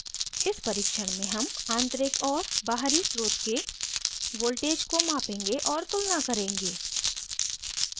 इस परीक्षण में हम आंतरिक और बाहरी स्रोत के voltages को मापेंगे और तुलना करेंगे